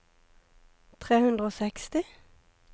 tre hundre og seksti